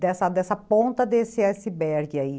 Dessa dessa dessa ponta desse iceberg aí.